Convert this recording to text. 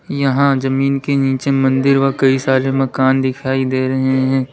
यहां जमीन के नीचे मंदिर व कई सारे मकान दिखाई दे रहे हैं।